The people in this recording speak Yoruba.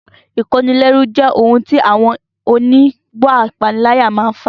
Ìkónilẹ́rú jẹ́ ohun tí àwọn oníwà ìpániláyà máa n fà